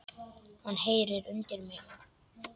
Hann heyrir undir mig.